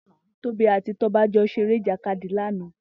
Tobi àtí Toba jọ ṣéré ijàkádi làná